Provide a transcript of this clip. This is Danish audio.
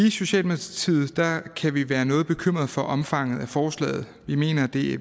i socialdemokratiet kan vi være noget bekymrede for omfanget af forslaget vi mener at det